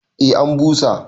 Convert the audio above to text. eh an basu